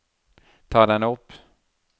ta den opp